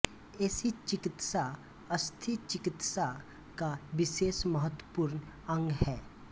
ऐसी चिकित्सा अस्थिचिकित्सा का विशेष महत्वपूर्ण अंग है